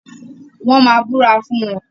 Wọ́n máa búra fún wọn.